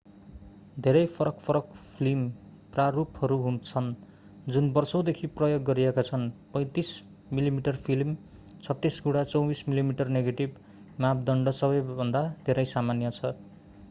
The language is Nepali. धेरै फरक-फरक फिल्म प्रारूपहरू छन् जुन वर्षौंदेखि प्रयोग गरिएका छन्। 35 मिमी फिल्म 36 गुणा 24 मिमी नेगेटिभ मापदण्ड सबैभन्दा धेरै सामान्य छ।